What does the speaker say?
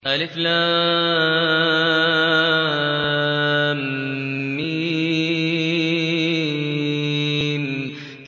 الم